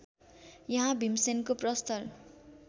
यहाँ भिमसेनको प्रस्तर